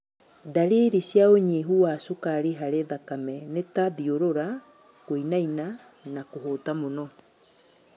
Ndariri cia ũnyihu wa cukari harĩ thakame nĩ ta thiũrũra, kũinaina na kũhũta mũno